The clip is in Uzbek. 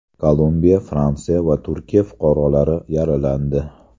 Kolumbiya, Fransiya va Turkiya fuqarolari yaralandi.